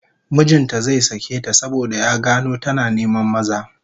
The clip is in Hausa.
Mijin ta zai sake ta saboda ya gano tana neman maza